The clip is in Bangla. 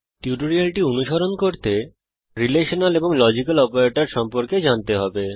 টিউটোরিয়ালটি অনুসরণ করতে রিলেশনাল এবং লজিক্যাল অপারেটর সম্পর্কে জানতে হবে